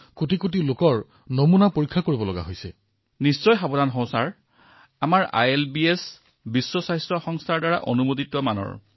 গতিকে কামৰ সময়বোৰ নিশ্চয় অত্যাধিক হৈছে আপোনাকে পৰীক্ষাগাৰৰ পৰা নিশা উভতিব লাগে কিয়নো ইমান কোটি মানুহৰ পৰীক্ষা হৈ আছে বোজাও বাঢ়িছে কিন্তু আপোনালোকে নিজৰ সুৰক্ষাৰ যত্ন লয় নে নলয়